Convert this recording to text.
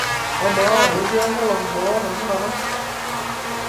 amaa ketii enkolong' boo tenakata